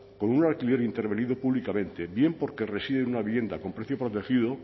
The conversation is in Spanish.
con un alquiler intervenido públicamente bien porque reside una vivienda con precio protegido